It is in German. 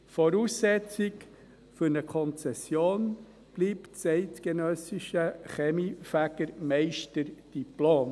Voraussetzung für eine Konzession bleibt das eidgenössische Kaminfegermeisterdiplom.